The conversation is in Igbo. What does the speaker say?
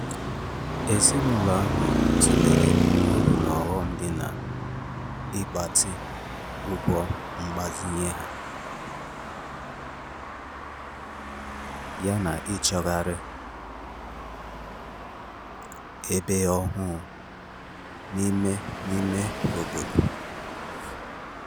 Ezinụlọ ahụ tụlere uru na ọghọm dị n'ịgbatị ụgwọ mgbazinye ha yana ịchọgharị ebe ọhụụ n’ime n’ime obodo